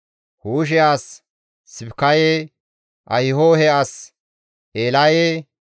Huushe as Sibikaye, Ahihohe as Eelaye,